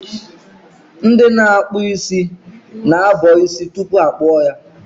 Ndị ọkpụ isi na-abọ isi tupu ha akpụọ ya.